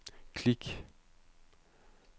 klik